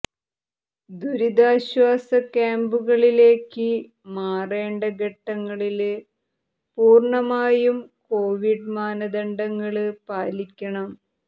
ദുരിതാശ്വാസ ക്യാമ്പുകളിലേക്ക് മാറേണ്ട ഘട്ടങ്ങളില് പൂര്ണ്ണമായും കോവിഡ് മാനദണ്ഡങ്ങള് പാലിക്കണം